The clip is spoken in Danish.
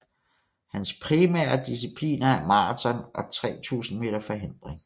Hans primære discipliner er maraton og 3000 meter forhindring